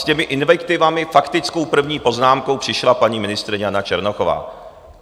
S těmi invektivami, faktickou první poznámkou, přišla paní ministryně Jana Černochová.